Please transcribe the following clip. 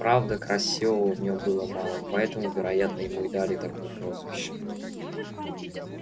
правда красивого в нём было мало поэтому вероятно ему и дали такое прозвище